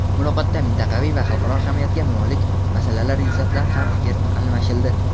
Muloqotda mintaqaviy va xalqaro ahamiyatiga molik masalalar yuzasidan ham fikr almashildi.